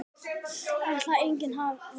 Erla: Enginn vafi?